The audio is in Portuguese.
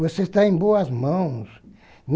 Você está em boas mãos.